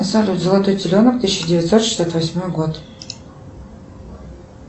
салют золотой теленок тысяча девятьсот шестьдесят восьмой год